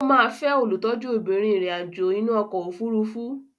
Ó máa fẹ́ olùtọ́jú obìnrin ìrìn àjò inú ọkọ̀ òfurufú.